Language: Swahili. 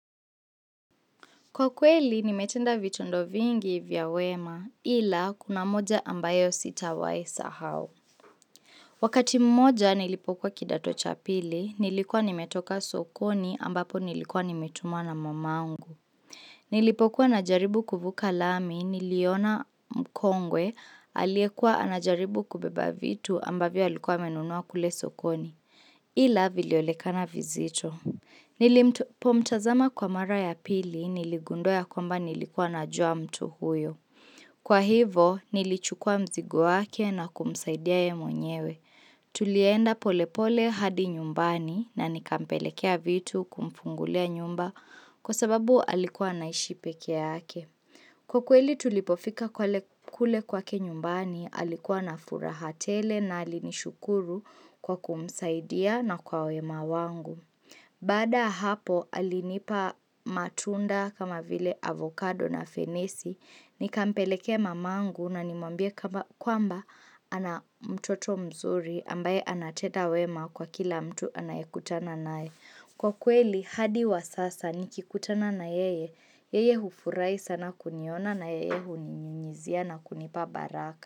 Kwa kweli, nimetenda vitendo vingi vya wema ila kuna moja ambayo sitawahi sahau. Wakati mmoja nilipokuwa kidato cha pili, nilikuwa nimetoka sokoni ambapo nilikuwa nimetumwa na mamangu. Nilipokuwa na jaribu kuvuka lami niliona mkongwe aliyekuwa anajaribu kubeba vitu ambavyo alikuwa amenunua kule sokoni ila vilionekana vizito. Nilipo mtazama kwa mara ya pili niligundua ya kwamba nilikuwa na jua mtu huyo. Kwa hivo nilichukua mzigo wake na kumsaidia yeye mwenyewe. Tulienda polepole hadi nyumbani na nika mpelekea vitu kumfungulia nyumba kwa sababu alikuwa anaishi peke yake. Kwa kweli tulipofika kwale kule kwake nyumbani alikuwa na furahatele na alinishukuru kwa kumsaidia na kwa wema wangu. Baada ya hapo alinipa matunda kama vile avokado na fenesi, nikampelekee mamangu na nimwambie kwamba ana mtoto mzuri ambaye anatenda wema kwa kila mtu anayekutana naye. Kwa kweli hadi wa sasa nikikutana na yeye, yeye hufurahi sana kuniona na yeye huni nyunyizia na kunipa baraka.